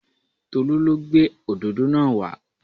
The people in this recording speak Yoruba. Tolú lo gbé òdòdó náà wa